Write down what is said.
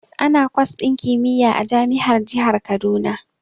Ana kwas din kimiyya a jami'ar jihar Kaduna.